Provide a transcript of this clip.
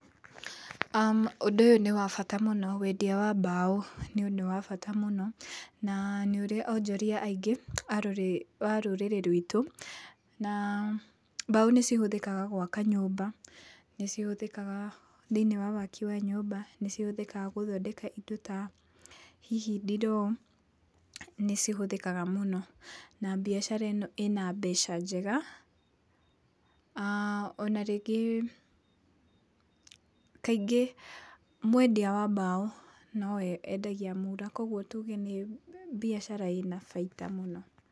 aah Ũndũ ũyũ nĩ wa bata mũno, wendia wa mbaũ nĩ ũndũ wa bata mũno, na nĩ ũrĩ onjoria aingĩ a rũrĩrĩ rwitũ, na mbaũ nĩ cihũthĩkaga gwaka nyũmba, nĩ cihũthĩkaga thĩiniĩ wa waki wa nyũmba, nĩ cihũthĩkaga gũthondeka indo ta hihi ndiroo, nĩ cihũthĩkaga mũno, na mbiacara ĩno ĩna mbeca njega, aah ona rĩngĩ kaingĩ mwendia wa mbaũ no we wendagia mura, koguo tuge nĩ mbiacara ĩna baita mũno.